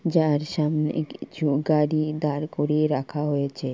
যার সামনে কিছু গাড়ি দাঁড় করিয়ে রাখা হয়েছে ।